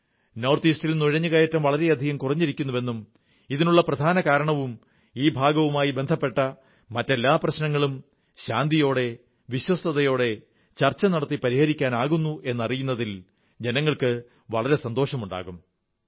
north ഈസ്റ്റിൽ നുഴഞ്ഞുകറ്റം വളരെയധികം കുറഞ്ഞിരിക്കുന്നുവെന്നും ഇതിനുള്ള പ്രധാനകാരണവും ഈ ഭാഗവുമായി ബന്ധപ്പെട്ട മറ്റെല്ലാ പ്രശ്നങ്ങളും ശാന്തിയോടെ വിശ്വസ്തതയോടെ ചർച്ച നടത്തി പരിഹരിക്കാനാകുന്നു എന്നറിയുന്നതിൽ ജനങ്ങൾക്ക് വളരെ സന്തോഷമുണ്ടാകും